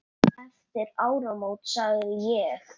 Eftir áramót sagði ég.